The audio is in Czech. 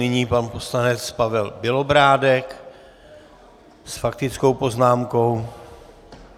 Nyní pan poslanec Pavel Bělobrádek s faktickou poznámkou.